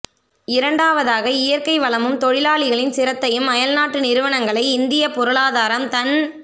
இரண்டாவதாக இயற்கை வளமும் தொழிலாளிகளின் சிரத்தையும் அயல்நாட்டு நிறுவனங்களை இந்தியப் பொருளாதாரம் தன்